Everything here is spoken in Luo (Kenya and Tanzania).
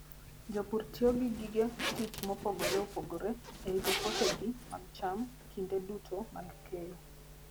Jopur tiyo gi gige tich mopogore opogore e rito puothegi mag cham kinde duto mag keyo.